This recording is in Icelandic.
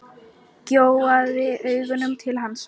Gjóaði augunum til hans.